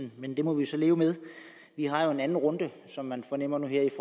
men det må vi så leve med vi har jo en anden runde som man fornemmer nu her i